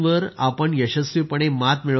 यशस्वीपणे मात मिळवल्याबद्दल